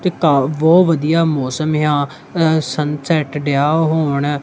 ਤਿਰਕਾਲ ਬਹੁਤ ਵਧੀਆ ਮੌਸਮ ਆ ਸਨਸੈਟ ਡਇਆ ਹੋਣ।